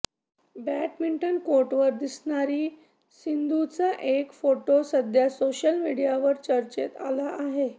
badminton कोर्टवर दिसणारी सिंधूचा एक फोटो सध्या सोशल मीडियावर चर्चेत आला आहे